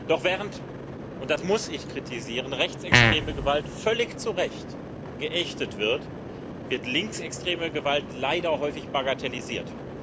Doch während und das muss ich kritisieren rechtsextreme Gewalt völlig zu Recht geächtet wird, wird linksextreme Gewalt leider häufig bagatellisiert.